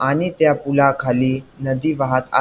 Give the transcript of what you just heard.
आणि त्या पुलाखाली नदी वाहत आ--